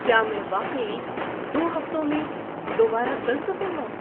کیا میں واقعی دو ہفتوں میں دوبارہ چل سکوں گا؟